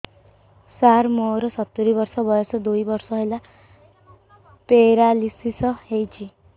ସାର ମୋର ସତୂରୀ ବର୍ଷ ବୟସ ଦୁଇ ବର୍ଷ ହେଲା ପେରାଲିଶିଶ ହେଇଚି